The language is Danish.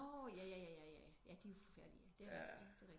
Nårh ja ja ja ja de er forfærdelige ja det er rigtigt